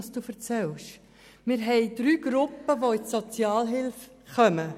Wir haben drei Gruppen, die in die Sozialhilfe kommen.